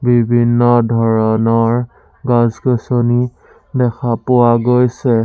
বিভিন্ন ধৰণৰ গছ-গছনি দেখা পোৱা গৈছে।